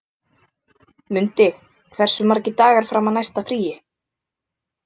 Mundi, hversu margir dagar fram að næsta fríi?